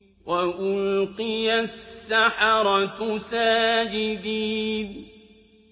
وَأُلْقِيَ السَّحَرَةُ سَاجِدِينَ